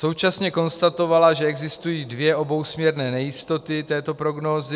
Současně konstatovala, že existují dvě obousměrné nejistoty této prognózy.